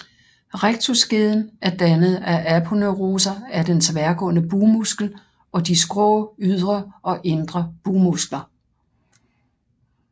Rectusskeden er dannet af aponeuroser af den tværgående bugmuskel og de skrå ydre og indre bugmuskler